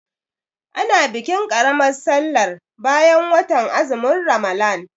A na bikin ƙaramar sallar bayan watan azumin Ramalan.